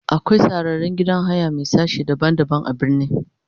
akwai sarraren gidan haya Mai sashi daban daban a birni.